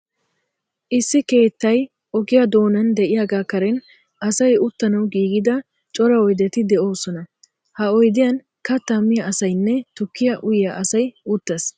Issi keettay ogiya doonan de'iyagaa karen asay uttanawu giigida cora oydeti de'oosona. Ha oydiyan kattaa miya asaynne tukkiya uyiya asay uttees.